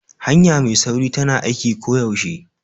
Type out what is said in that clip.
Hanya mai sauri tana aiki koyaushe.